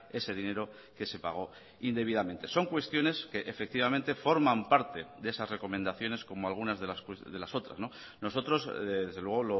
ese dinero que se pagó indebidamente son cuestiones que efectivamente forman parte de esas recomendaciones como algunas de las otras nosotros desde luego